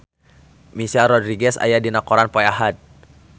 Michelle Rodriguez aya dina koran poe Ahad